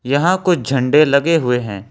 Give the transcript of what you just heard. यहां कुछ झंडे लगे हुए हैं।